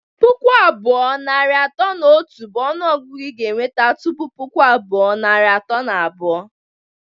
Pụkụ abụọ, narị atọ na otu bụ ọnụ ọgụgụ ị ga-enweta tụpụ puku abụọ, narị atọ na abụọ